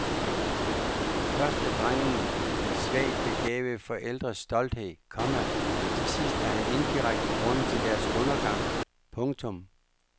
Først er drengen de svagt begavede forældres stolthed, komma men til sidst er han indirekte grunden til deres undergang. punktum